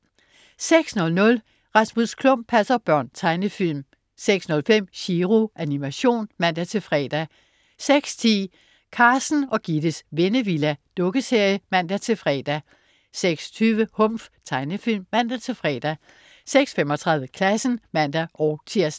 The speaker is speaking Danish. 06.00 Rasmus Klump passer børn. Tegnefilm 06.05 Chiro. Animation (man-fre) 06.10 Carsten og Gittes Vennevilla. Dukkeserie (man-fre) 06.20 Humf. Tegnefilm (man-fre) 06.35 Klassen (man-tirs)